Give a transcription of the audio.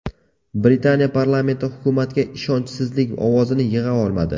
Britaniya Parlamenti hukumatga ishonchsizlik ovozini yig‘a olmadi.